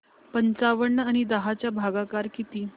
पंचावन्न आणि दहा चा भागाकार किती